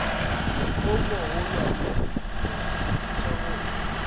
o mogolwane go kwišiša go